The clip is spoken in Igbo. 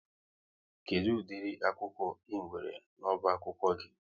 Kedụ ụdịri akwụkwọ ị nwere n'ọba akwụkwọ gị?